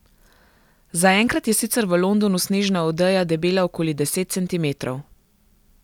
Zaenkrat je sicer v Londonu snežna odeja debela okoli deset centimetrov.